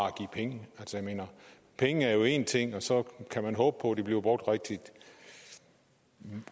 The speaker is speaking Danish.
at give penge jeg mener penge er én ting og så kan man håbe på at de bliver brugt rigtigt men